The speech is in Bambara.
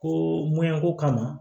Ko ko kama